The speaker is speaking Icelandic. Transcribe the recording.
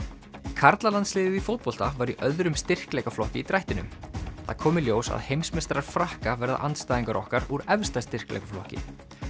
karlalandsliðið í fótbolta var í öðrum styrkleikaflokki í drættinum það kom í ljós að heimsmeistarar Frakka verða andstæðingar okkar úr efsta styrkleikaflokki